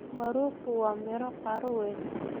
Maruuku waa miro qaro weyn.